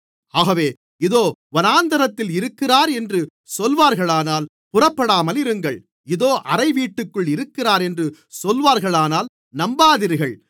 ஆகவே அதோ வனாந்திரத்தில் இருக்கிறார் என்று சொல்வார்களானால் புறப்படாமலிருங்கள் இதோ அறைவீட்டிற்குள் இருக்கிறார் என்று சொல்வார்களானால் நம்பாதீர்கள்